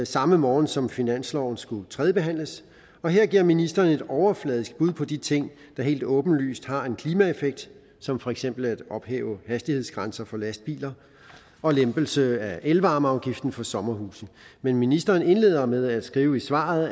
samme morgen som finansloven skulle tredjebehandles og her gav ministeren et overfladisk bud på de ting der helt åbenlyst har en klimaeffekt som for eksempel at ophæve hastighedsgrænser for lastbiler og lempelsen af elvarmeafgiften for sommerhuse men ministeren indledte med at skrive i svaret